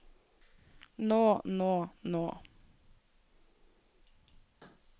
nå nå nå